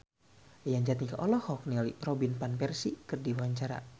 Yayan Jatnika olohok ningali Robin Van Persie keur diwawancara